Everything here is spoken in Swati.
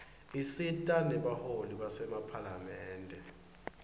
isita nebaholi basemaphalamende